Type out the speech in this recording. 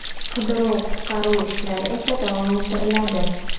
Qidiruv-qutqaruv ishlari esa davom ettiriladi.